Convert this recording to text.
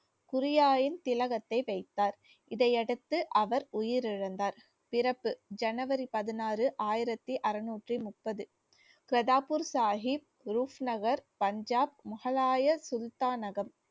குரியாயின் திலகத்தை வைத்தார் இதையடுத்து அவர் உயிர் இழந்தார். பிறப்பு january பதினாறு ஆயிரத்தி அறநூற்றி முப்பது கிரத்தாபூர் சாகிப் ரூஃப் நகர் பஞ்சாப் முகலாய சுல்தானகம்